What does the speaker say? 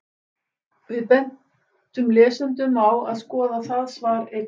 Við bendum lesendum á að skoða það svar einnig.